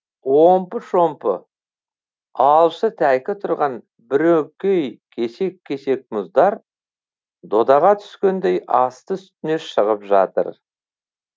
омпы шомпы алшы тәйкі тұрған бірөңкей кесек кесек мұздар додаға түскендей асты үстіне шығып жатыр